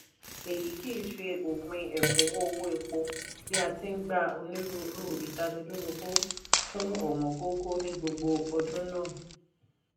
èyí kìí ṣe òpin ẹ̀kúnwó owó epo bí a ti n gba onírúurú ìtanilólobó fún ọ̀wọ́ngógó ní gbogbo ọdún náà